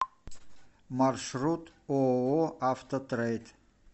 маршрут ооо автотрейд